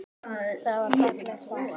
Það var fallegt par.